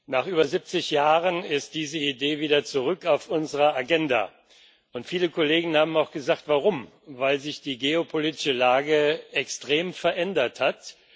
Nach über 70 Jahren ist diese Idee wieder zurück auf unserer Agenda, und viele Kollegen haben auch gesagt, warum weil sich die geopolitische Lage extrem verändert hat.